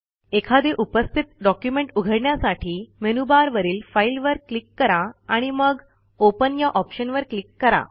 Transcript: एखादे उपस्थित डॉक्युमेंट उघडण्यासाठी मेनूबारवरील फाईलवर क्लिक करा आणि मग ओपन या ऑप्शनवर क्लिक करा